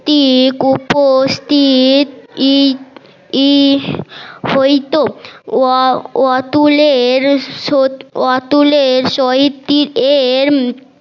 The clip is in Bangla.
হইতো অ অতুলের সোত অতুলের